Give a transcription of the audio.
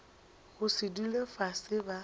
go se dule fase ba